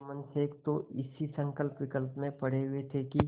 जुम्मन शेख तो इसी संकल्पविकल्प में पड़े हुए थे कि